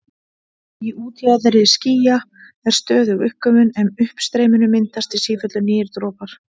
Í útjaðri skýja er stöðug uppgufun en í uppstreyminu myndast í sífellu nýir dropar.